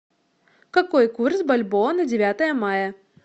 какой курс бальбоа на девятое мая